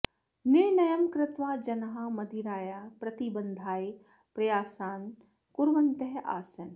निर्णयं कृत्वा जनाः मदिरायाः प्रतिबन्धाय प्रयासान् कुर्वन्तः आसन्